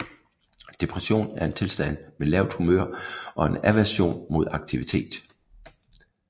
Depression er en tilstand med lavt humør og en aversion mod aktivitet